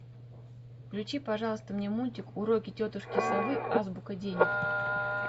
включи пожалуйста мне мультик уроки тетушки совы азбука денег